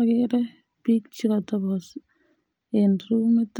Agere bik chekatabto en rumit